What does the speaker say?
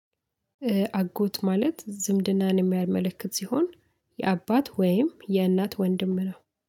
አጎት ማለት ዝምድናን የሚያመለክት ሲሆን የአባት ወይም የእናት ወንድም ነው።